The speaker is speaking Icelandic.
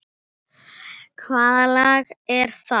Hvaða lag er það?